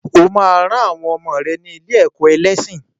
O ma ran àwọn ọmọ rẹ ní ilé-ẹ̀kọ́ ẹlẹ́sìn.